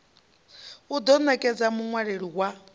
i ḓo nekedza muṅwaleli wa